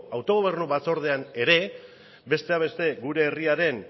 autogobernu batzordean ere besteak beste gure herriaren